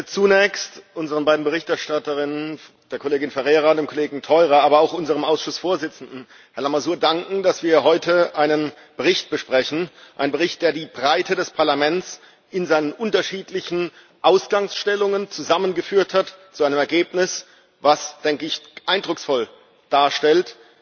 Ich möchte zunächst unseren beiden Berichterstattern, der Kollegin Ferreira und dem Kollegen Theurer, aber auch unserem Ausschussvorsitzenden, Herrn Lamassoure, dafür danken, dass wir heute einen Bericht besprechen, der die Breite des Parlaments in seinen unterschiedlichen Ausgangsstellungen zusammengeführt hat zu einem Ergebnis, das eindrucksvoll darstellt,